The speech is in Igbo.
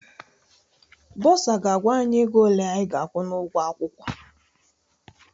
Bọsa ga-agwa anyị ego ole anyị ga-akwụ n'ụgwọ akwụkwọ.